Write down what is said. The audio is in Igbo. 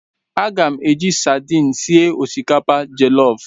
Aga m eji sadin sie osikapa jọlọf.